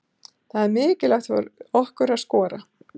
Það er mikilvægt fyrir okkur að skora.